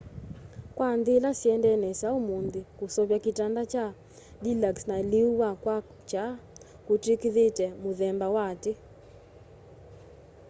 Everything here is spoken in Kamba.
kwa nthî ila syendee nesa ûmûnthî kuseuvya kitanda kya deluxe na lîû wa kwakya kûtwîkîthîtw'e muthemba wa ati